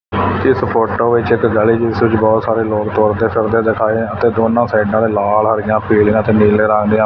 ਇੱਸ ਫ਼ੋਟੋ ਵਿੱਚ ਗਲੀ ਜਿੱਸ ਵਿੱਚ ਬਹੁਤ ਸਾਰੇ ਲੋਗ ਤੁਰਦੇ ਫਿਰਦੇ ਦਿਖਾਏ ਹੈਂ ਅਤੇ ਦੋਨੋਂ ਸਾਈਡਾਂ ਤੇ ਲਾਲ ਹਰੀਆਂ ਪੀਲੀਆਂ ਤੇ ਨੀਲੇ ਰੰਗ ਦਿਆਂ--